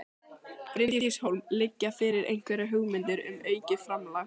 Bryndís Hólm: Liggja fyrir einhverjar hugmyndir um aukið framlag?